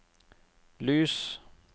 lys